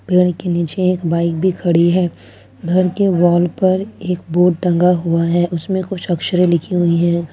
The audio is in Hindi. पेड़ के नीचे एक बाइक भी खड़ी है घर के वॉल पर एक बोर्ड टंगा हुआ है उसमें कुछ अक्षरे लिखी हुई है।